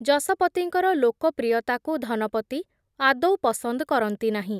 ଯଶପତିଙ୍କର ଲୋକପ୍ରିୟତାକୁ ଧନପତି, ଆଦୌ ପସନ୍ଦ୍ କରନ୍ତି ନାହିଁ ।